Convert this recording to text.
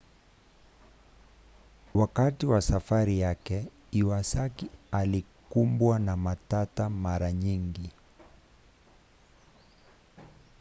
wakati wa safari yake iwasaki alikumbwa na matata mara nyingi